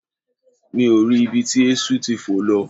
Mi ò rí ibi tí eéṣú ti fò lọ